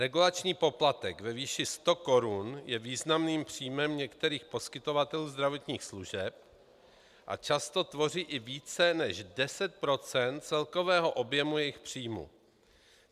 Regulační poplatek ve výši 100 korun je významným příjmem některých poskytovatelů zdravotních služeb a často tvoří i více než 10 % celkového objemu jejich příjmů.